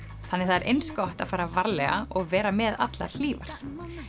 þannig það er eins gott að fara varlega og vera með allar hlífar